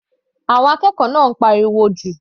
Àwọn akẹ́kọ̀ọ́ náà ń pariwo jù.